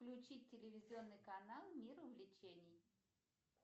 включить телевизионный канал мир увлечений